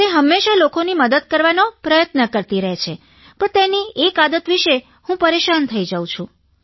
તે હંમેશા લોકોની મદદ કરવાનો પ્રયત્ન કરતી રહે છે પણ તેની એક આદત વિશે હું પરેશાન થઇ જાઉં છું